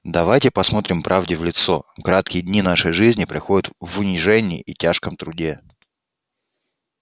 давайте посмотрим правде в лицо краткие дни нашей жизни проходят в унижении и тяжком труде